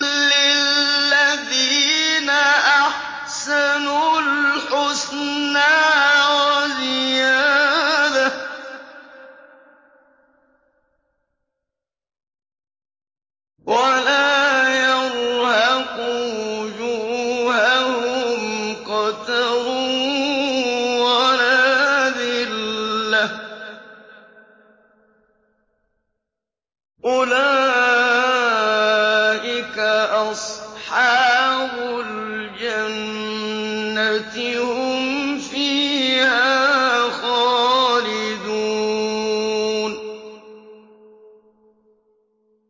۞ لِّلَّذِينَ أَحْسَنُوا الْحُسْنَىٰ وَزِيَادَةٌ ۖ وَلَا يَرْهَقُ وُجُوهَهُمْ قَتَرٌ وَلَا ذِلَّةٌ ۚ أُولَٰئِكَ أَصْحَابُ الْجَنَّةِ ۖ هُمْ فِيهَا خَالِدُونَ